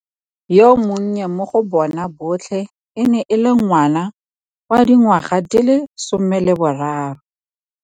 Yo monnye mo go bona botlhe e ne e le ngwana wa dingwaga di le 13.